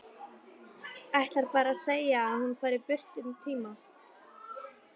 Ætlar bara að segja að hún fari burt um tíma.